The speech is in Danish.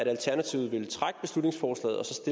alternativet